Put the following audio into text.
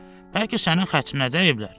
Bəlkə sənin xətrinə dəyiblər?